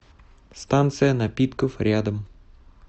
станция напитков рядом